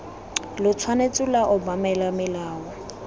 lo tshwanetse lwa obamela molao